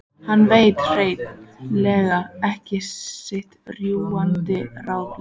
Hann veit hrein- lega ekki sitt rjúkandi ráð lengur.